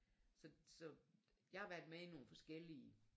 Så så jeg har været med i nogle forskellige